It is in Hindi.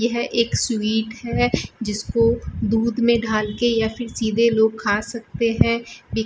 यह एक स्वीट है जिसको दूध में डाल के या फिर सीधे लोग खा सकते हैं बी --